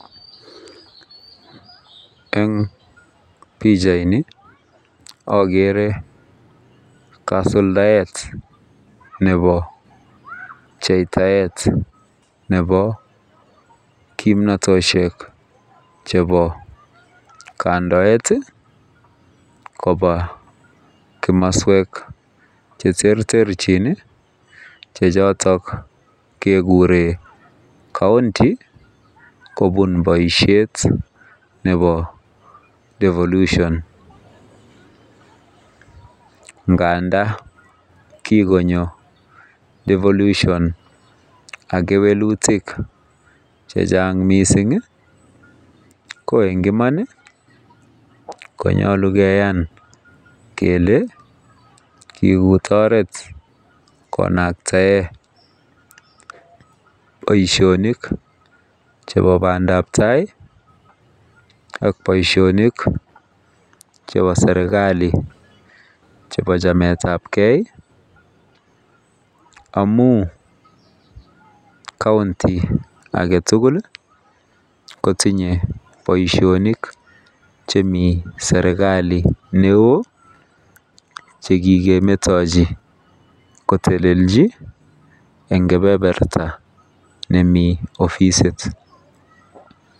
Eng pichaini ogere kasuladaet nebo pcheitaet nebo kimnatosiek chebo kandoet koba komoswek cheterterjin che chotok keguren [county] kobun boisiet nebo [devolution] ngandan kikonyo [devolution] ak kewelutik chechang mising iih ko eng Iman konyolu keyan kele kikut oret konaktaen boisionik chebo bandap tai ak boisionik chebo serkali chebo chametabge amun [county] agetugul iih kotinye boisionik chemi serkali neo che kikemetochi kotelelji eng kebeberta nemi ofisit.